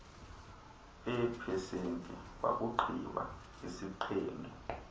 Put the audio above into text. eepesenti wakugqiba isiqendu